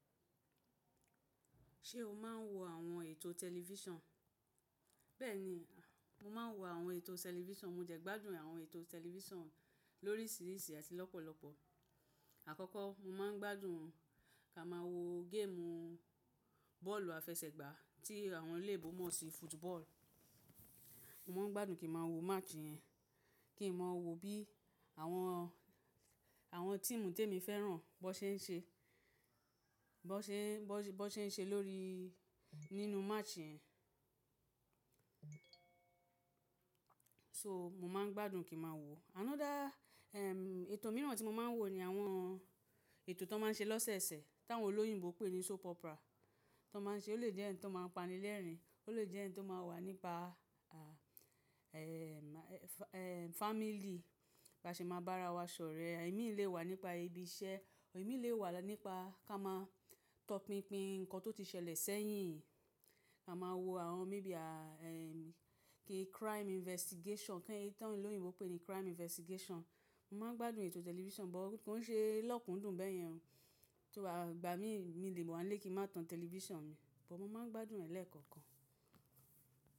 Ṣé o máa ń wo àwọn ètò tẹlifíṣàn? Bẹ́ẹ̀ni, mo máa ń wo àwọn ètò tẹlifíṣàn. Mo jẹ̀gbádùn àwọn ètò tẹlifíṣàn lóríṣìíríṣìí àti lọ́pọ̀lọ́pọ̀. Àkọ́kọ́ mo máa ń gbádùn ká máa wo géèmù bọ́ọ̀lù àfẹsẹ̀gbá tí àwọn ilẹ̀ Igbo mọ̀ sí football. Mo máa ń gbádùn kí màá wo match yẹn, kí n mọ̀ wo bí àwọn, àwọn tíìmù tèmi fẹ́ràn bó ṣe ń ṣe, bó ṣe, bó ṣe ń ṣe lórí nínú match yẹn. So, mo máa ń gbádùn kí màá wo. Another, ẹm, ètò mìíràn tí mo máa ń wo ni àwọn ètò tó máa ń ṣe lọ́sẹ̀sẹ̀ tí àwọn olóyìnbo pè ní soap opera tó máa ń ṣe. Ó lè jẹ́ ẹ̀ní tó máa ń pani lẹ́rìn-ín, ó lè jẹ́ ẹ̀ní tó máa wà nípa, à, ẹ́ẹm, ẹ́ ẹm family bá ṣe máa bá ara wa sọ̀rẹ́. Ẹ̀mí lè wà nípa ibi iṣẹ́, ẹ̀mí lè wà nípa ká máa tọpinpin ǹkan tó ti ṣẹlẹ̀ sẹ́yìn. A máa wo àwọn maybe a ẹ́ẹm kí crime investigation kí ẹni tí àwọn olóyìnbo pè ní crime investigation. Mo máa ń gbádùn ètò tẹlifíṣàn, bọ̀ kó ń ṣe lọ́kùndùn bẹ́yẹn. Tó bá gba mi, mi lè mọ̀ ọ́n lé kí má tan tẹlifíṣàn mi, bọ̀ mo máa ń gbádùn ẹ̀ lẹ́ẹ̀kọ̀kan.